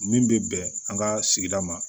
Min bɛ bɛn an ka sigida ma